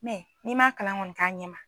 n'i man kalan kɔni k'a ɲɛ ma